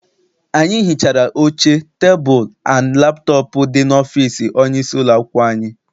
Anyị hichara oche, tebulu and laptọp dị n'ọfịịsi onye isi ụlọakwụkwọ anyị.